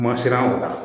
Ma siran o la